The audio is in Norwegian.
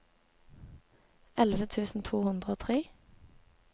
elleve tusen to hundre og tre